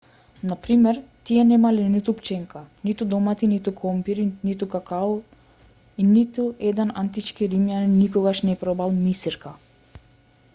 на пример тие немале ниту пченка ниту домати ниту компири ниту какао и ниту еден антички римјанин никогаш не пробал мисирка